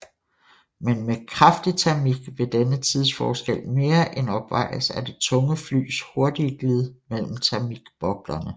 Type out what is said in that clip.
Men med kraftig termik vil denne tidsforskel mere end opvejes af det tunge flys hurtigere glid mellem termikboblerne